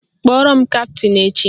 Kpọrọ m kaptịn echi!